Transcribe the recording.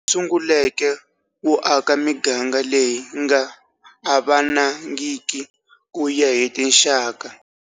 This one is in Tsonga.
Sunguleke wo aka miganga leyi nga avanangiki ku ya hi tinxaka.